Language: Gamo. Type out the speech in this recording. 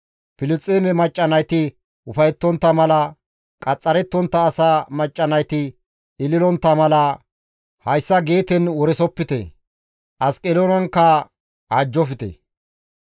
«Filisxeeme macca nayti ufayettontta mala, qaxxarettontta asaa macca nayti ililontta mala, hayssa Geeten woresopite; Asqeloonankka awajjofte.